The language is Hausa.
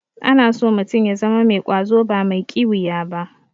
Ana so mutum ya zama mai ƙwazo ba mai ƙiwiya ba.